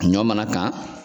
Ɲɔ mana kan